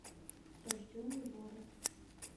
рожденный вором